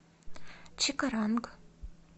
чикаранг